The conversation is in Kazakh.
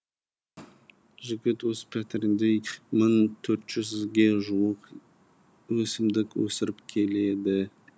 жігіт өз пәтерінде мың төрт жүзге жуық өсімдік өсіріп келеді